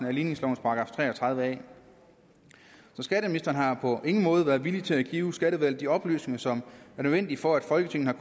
af ligningslovens § tre og tredive a skatteministeren har på ingen måde været villig til at give skatteudvalget de oplysninger som er nødvendige for at folketinget